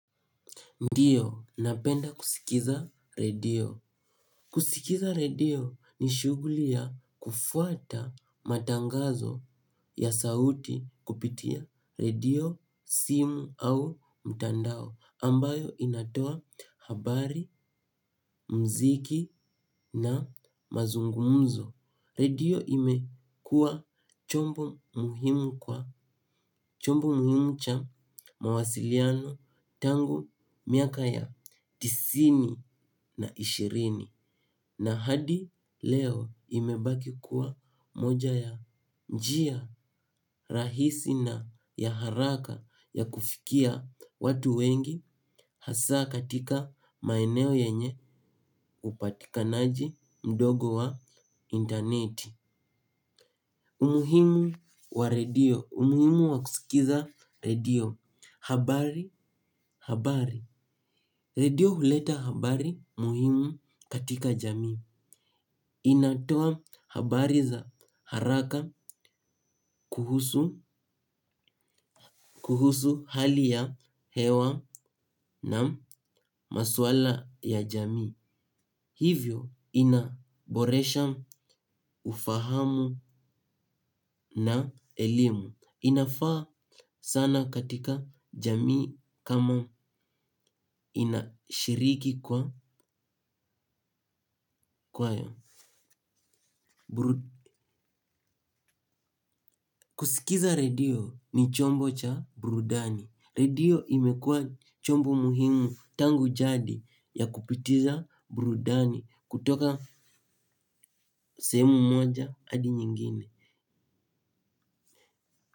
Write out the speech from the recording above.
Ndiyo, napenda kusikiza redio. Kusikiza redio ni shughuli ya kufuata matangazo ya sauti kupitia redio, simu au mtandao ambayo inatoa habari, muziki na mazungumzo. Redio imekua chombo muhimu kwa chombo muhimu cha mawasiliano tangu miaka ya tisini na ishirini na hadi leo imebaki kuwa moja ya njia rahisi na ya haraka ya kufikia watu wengi hasa katika maeneo yenye upatikanaji mdogo wa interneti. Umuhimu wa redio. Umuhimu wa kusikiza redio. Habari, habari. Redio huleta habari muhimu katika jamii. Inatoa habari za haraka kuhusu hali ya hewa na maswala ya jamii. Hivyo inaboresha ufahamu na elimu. Inafaa sana katika jamii kama inashiriki kwa kwaya. Kusikiza redio ni chombo cha burudani. Redio imekua chombo muhimu tangu jadi ya kupitiza burudani. Kutoka sehemu moja hadi nyingine.